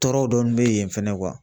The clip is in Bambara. Tɔɔrɔw dɔnni bɛ yen fɛnɛ